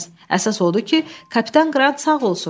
Əsas odur ki, kapitan Qrant sağ olsun.